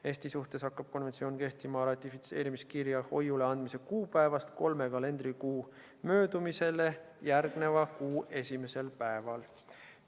Eesti suhtes hakkab konventsioon kehtima ratifitseerimiskirja hoiuleandmise kuupäevast kolme kalendrikuu möödumisele järgneva kuu esimesel päeval.